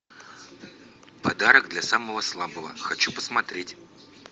подарок для самого слабого хочу посмотреть